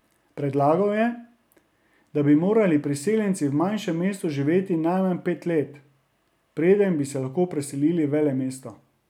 Predlagal je, da bi morali priseljenci v manjšem mestu živeti najmanj pet let, preden bi se lahko preselili v velemesto.